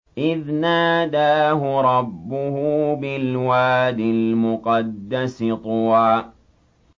إِذْ نَادَاهُ رَبُّهُ بِالْوَادِ الْمُقَدَّسِ طُوًى